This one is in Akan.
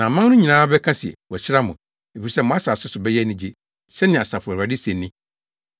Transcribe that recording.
“Na aman no nyinaa bɛka se wɔahyira mo, efisɛ mo asase so bɛyɛ anigye,” sɛnea Asafo Awurade se ni.